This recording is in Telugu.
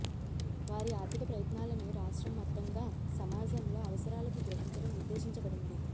వారి ఆర్థిక ప్రయత్నాలను రాష్ట్రం మొత్తంగా సమాజంలో అవసరాలకు గ్రహించడం ఉద్దేశించబడింది